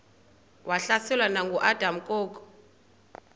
wahlaselwa nanguadam kok